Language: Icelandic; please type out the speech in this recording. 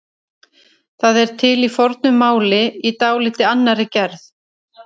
það er til í fornu máli í dálítið annarri gerð